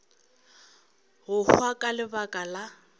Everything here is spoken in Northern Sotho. go hwa ka lebaka la